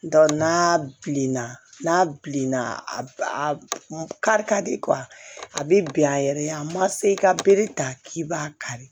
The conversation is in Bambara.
n'a bilenna n'a bilenna a kari ka di a bɛ bin a yɛrɛ ye a ma se i ka bere ta k'i b'a kari